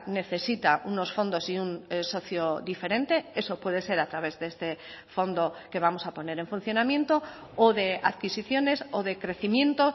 necesita unos fondos y un socio diferente eso puede ser a través de este fondo que vamos a poner en funcionamiento o de adquisiciones o de crecimiento